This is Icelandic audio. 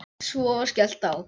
Svo var skellt á.